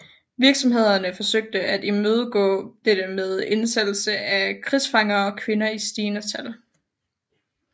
Virksomhederne forsøgte at imødegå dette med indsættelse af krigsfanger og kvinder i stigende tal